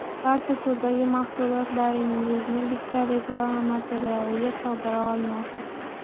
Barcha turdagi mahsulotlaringizni bitta reklama materialiga sig‘dira olmaysiz.